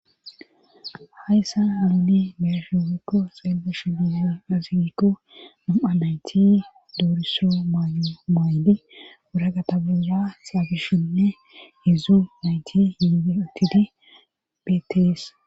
hayssa haluni mershefikko seellesh ia azigikko nam7a nayti dooriso mymaayli wura gatabura xaabishenne hidzu nayti yiie otidi betes